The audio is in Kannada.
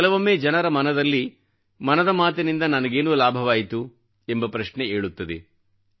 ಕೆಲವೊಮ್ಮೆ ಜನರ ಮನದಲ್ಲಿ ಮನದ ಮಾತಿನಿಂದ ನನಗೇನು ಲಾಭವಾಯಿತು ಎಂಬ ಪ್ರಶ್ನೆ ಏಳುತ್ತದೆ